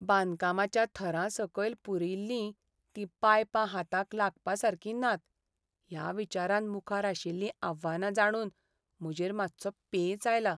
बांदकामाच्या थरां सकयल पुरिल्लीं तीं पायपां हाताक लागपासारकीं नात ह्या विचारान मुखार आशिल्लीं आव्हानां जाणून म्हजेर मात्सो पेंच आयला.